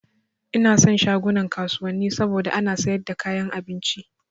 Ina son shagunan kasuwanni saboda ana sayar da kayan abinci